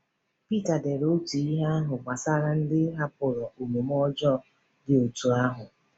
Pita dere otu ihe ahụ gbasara ndị hapụrụ omume ọjọọ dị otú ahụ.